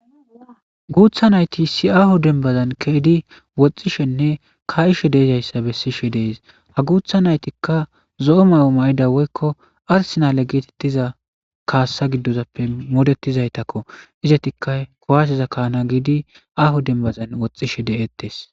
Guutha nayti isi aahu denbazan keedi woxxishenne ka7ishe deezayssa bessishe dees ha guutha naytikka zo7o mayo ma7ida woykko arsinale geetettiza kaassa giddozappe moodetizaytakko izetikka kowasiza kaana giidi ahu denbazan woxxishe de7ettes.